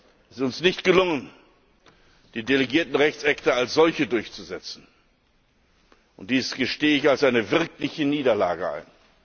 Es ist uns nicht gelungen, die delegierten Rechtsakte als solche durchzusetzen. Dies gestehe ich als eine wirkliche Niederlage ein.